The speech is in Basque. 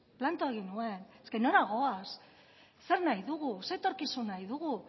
planto egin nuen nora goaz zer nahi dugu zein etorkizun nahi dugu